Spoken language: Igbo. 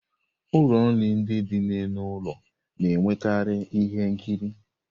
Ụlọ nri ndị dị n'elu ụlọ na-enwekarị ihe nkiri.